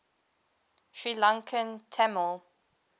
sri lankan tamil